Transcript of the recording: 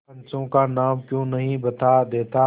पंचों का नाम क्यों नहीं बता देता